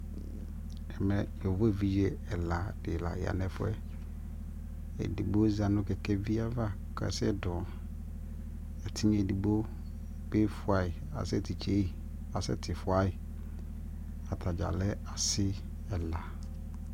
ɛmɛ yɔvɔ ɛvidzɛ ɛla di la yanʋ ɛƒʋɛ, ɛdigbɔ za nʋ kɛkɛvi aɣa, ɛtinya ɛdigbɔ bi ƒʋayi asɛ titsɛyi, asɛ tifʋayi, atagya lɛ asii ɛla